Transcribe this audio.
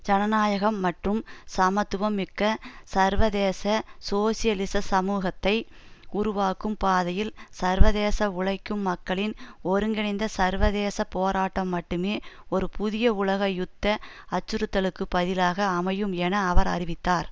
ஜனநாயகம் மற்றும் சமத்துவம் மிக்க சர்வதேச சோசியலிச சமூகத்தை உருவாக்கும் பாதையில் சர்வதேச உழைக்கும் மக்களின் ஒருங்கிணைந்த சர்வதேச போராட்டம் மட்டுமே ஒரு புதிய உலக யுத்த அச்சுறுத்தலுக்கு பதிலாக அமையும் என அவர் அறிவித்தார்